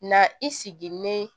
Na i sigilen